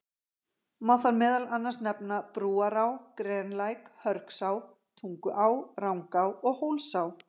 Má þar meðal annars nefna Brúará, Grenlæk, Hörgsá, Tunguá, Rangá og Hólsá.